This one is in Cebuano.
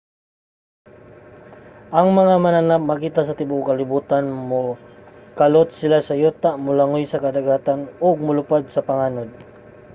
ang mga mananap makita sa tibuok kalibutan. mokalot sila sa yuta molangoy sa kadagatan ug molupad sa panganod